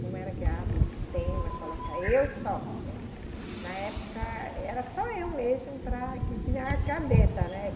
Como era que o tema, colocar eu só, na época era só eu mesma para que tinha a cabeça, né?